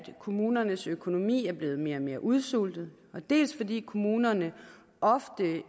kommunernes økonomi er blevet mere og mere udsultet dels fordi kommunerne ofte